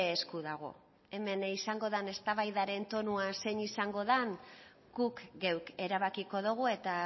esku dago hemen izango den eztabaidaren tonua zein izango den guk geuk erabakiko dugu eta